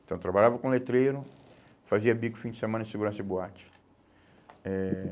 Então eu trabalhava com letreiro, fazia bico fim de semana em segurança de boate. Eh